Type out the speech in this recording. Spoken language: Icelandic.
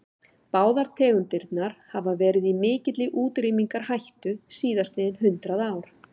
Báðar tegundirnar hafa verið í mikilli útrýmingarhættu síðastliðin hundrað ár.